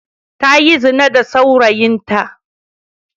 Ta yi zina da saurayinta.